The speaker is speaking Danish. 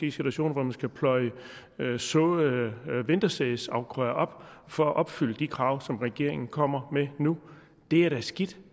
i situationer hvor man skal pløje såede vintersædsafgrøder op for at opfylde de krav som regeringen kommer med nu det er da skidt